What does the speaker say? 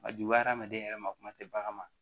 A juguya hadamaden yɛrɛ ma kuma tɛ bagan ma